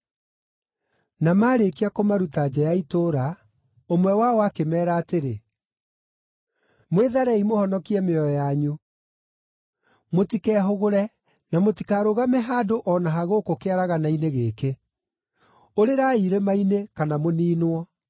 Na maarĩkia kũmaruta nja ya itũũra, ũmwe wao akĩmeera atĩrĩ, “Mwĩtharei mũhonokie mĩoyo yanyu! Mũtikehũgũre, na mũtikarũgame handũ o na ha gũkũ kĩaragana-inĩ gĩkĩ! Ũrĩrai irĩma-inĩ, kana mũniinwo!”